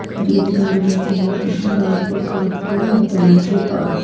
खरीदे और बेचे जाते हैं बाइक और कार के हर तरह के पार्ट ।